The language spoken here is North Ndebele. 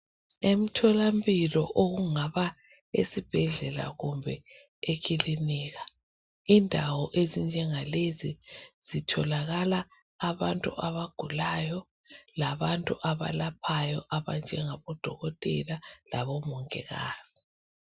Emtholampilo okungaba sesibhedlela kumbe ekilinika. Indawo enzinjengalezi zitholakala abantu abagulayo labantu abalaphayo abanjengabodokotela labomongikazi.